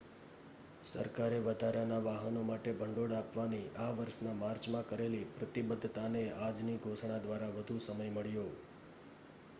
સરકારે વધારાના વાહનો માટે ભંડોળ આપવાની આ વર્ષના માર્ચમાં કરેલી પ્રતિબદ્ધતાને આજની ઘોષણા દ્વારા વધુ સમય મળ્યો